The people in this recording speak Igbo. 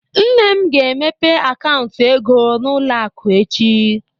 Nne m ga-emepe akaụntụ ego n'ụlọ akụ echi.